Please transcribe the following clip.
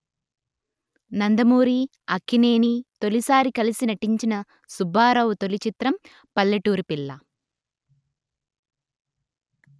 నందమూరి అక్కినేని తొలిసారి కలసి నటించిన సుబ్బారావు తొలి చిత్రం పల్లెటూరి పిల్ల